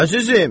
Əzizim.